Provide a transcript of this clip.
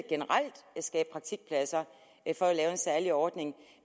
skabe praktikpladser for at lave en særlig ordning